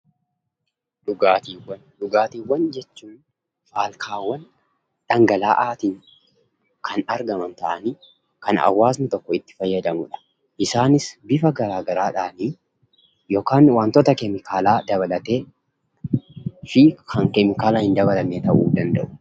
Dhugaatiiwwan, dhugaatiiwwan jechuun faalkaawwan dhangala'aatiin kan argaman ta'anii kan hawaasni tokko itti fayyadamudha. Isaanis bifa garaa garaadhaanii yookan wantoota keemikaalaa dabalatee fi kan keemikaala hin dabalanne ta'uu danda'u.